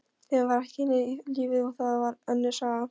Tíminn var ekki lífið, og það var önnur saga.